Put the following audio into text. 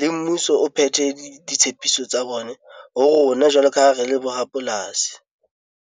le mmuso o phethe ditshepiso tsa bone ho rona jwalo ka ha re le bo rapolasi.